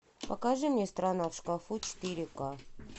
покажи мне страна в шкафу четыре ка